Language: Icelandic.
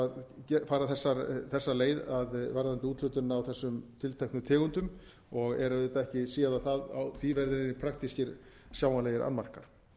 að fara þessa leið varðandi úthlutun á þessum tilteknu tegundum og er auðvitað ekki séð að á því verði praktískir sjáanlegir annmarkar